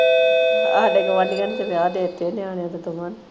ਸਾਡੇ ਗੁਆਢੀਆਂ ਨੇ ਤਾਂ ਵਿਆਹ ਦੇ ਤੇ ਨਿਆਣਿਆਂ ਦੋਵਾਂ ਨੇ।